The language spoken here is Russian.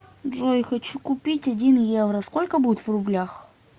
джой хочу купить один евро сколько будет в рублях